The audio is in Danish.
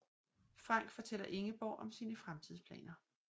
Frank fortæller Ingeborg om sine fremtidsplaner